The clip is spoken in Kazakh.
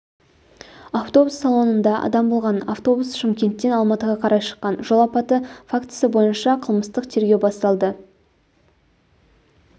автобус салонында адам болған автобус шымкенттен алматыға қарай шыққан жол апаты фактісі бойынша қылмыстық тергеу басталды